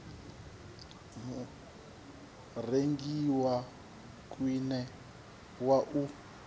murengi wa khwine wa u